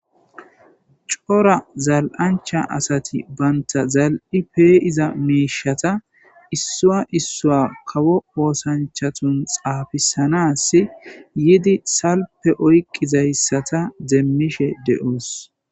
Cora zal7ancha asati banta zal7i peeiza meishata issua issua kawo oosanchatun xaafisanas yidi salpe oyqizayssata deemmishe de7oos